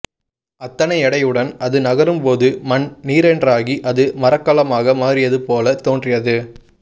அத்தனை எடையுடன் அது நகரும்போது மண் நீரென்றாகி அது மரக்கலமாக மாறியதுபோலத் தோன்றியது